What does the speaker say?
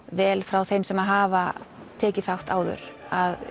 vel frá þeim sem hafa tekið þátt áður